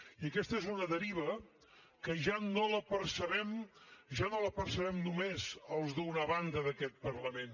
i aquesta és una deriva que ja no la percebem ja no la percebem només els d’una banda d’aquest parlament